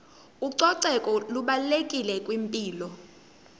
ucoceko lubalulekile kwimpilo